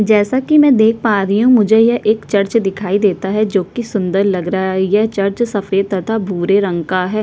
जैसा की मै देख पा रही हूँ मुझे यह एक चर्च दिखाई देता है जो कि सुन्दर लग रहा है यह चर्च सफ़ेद तथा भूरे रंग का है ।